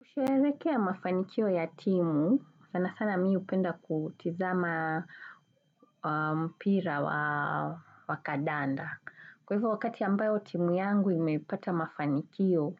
Kusherehekea mafanikio ya timu, sana sana mi hupenda kutizama mpira wakadanda. Kwa hivyo wakati ambayo timu yangu imepata mafanikio,